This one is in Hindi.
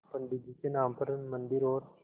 पंडित जी के नाम पर मन्दिर और